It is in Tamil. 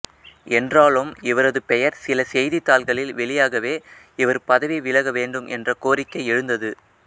என்றாலும் இவரது பெயர் சில செய்தித் தாள்களில் வெளியாகவே இவர் பதவி விலகவேண்டும் என்ற கோரிக்கை எழுந்தது